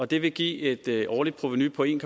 det vil give et et årligt provenu på en